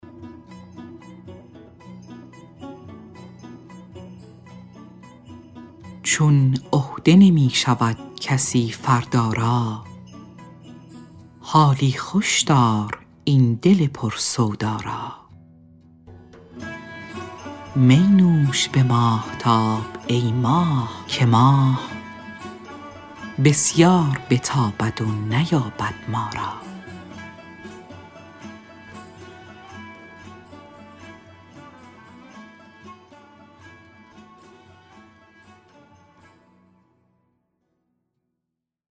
چون عهده نمی شود کسی فردا را حالی خوش دار این دل پر سودا را می نوش به ماهتاب ای ماه که ماه بسیار بتابد و نیابد ما را